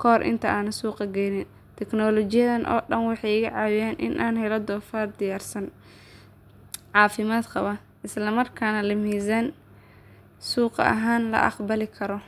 kahor inta aan suuq geynin. Tignoolajiyadahan oo dhan waxay iga caawiyaan in aan helo doofaar diyaarsan, caafimaad qaba, isla markaana leh miisaan suuq ahaan la aqbali karo.